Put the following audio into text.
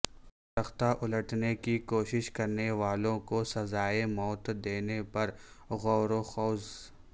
تختہ الٹنے کی کوشش کرنے والوں کو سزائے موت دینے پر غوروخوض